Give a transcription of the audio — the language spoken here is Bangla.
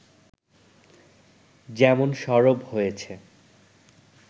যেমন সরব হয়েছে